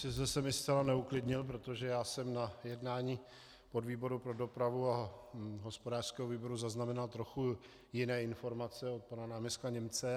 Sice jste mě zcela neuklidnil, protože já jsem na jednání podvýboru pro dopravu a hospodářského výboru zaznamenal trochu jiné informace od pana náměstka Němce.